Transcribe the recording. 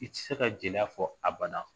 I tɛ se ka jeliya fɔ abada